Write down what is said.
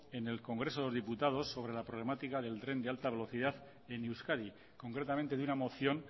en el congreso de los diputados sobre la problemática del tren de alta velocidad en euskadi concretamente de una moción